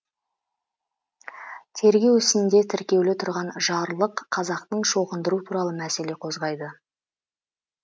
тергеу ісінде тіркеулі тұрған жарлық қазақты шоқындыру туралы мәселе қозғайды